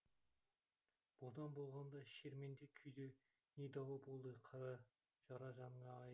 бодан болғанда шерменде күйде не дауа болды жара жаныңа ай